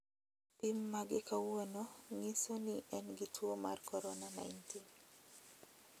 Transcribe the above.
pim mage kawuono ng'iso ni en gi tuwo mar korona 19.